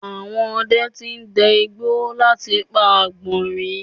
Àwọn ọdẹ ti dẹ igbó láti pa àgbọ̀nrín